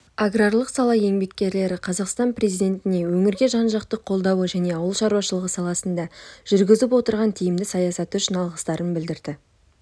аграрлық сала еңбеккерлері қазақстан президентіне өңірге жан-жақты қолдауы және ауыл шаруашылығы саласында жүргізіп отырған тиімді саясаты үшін алғыстарын білдірді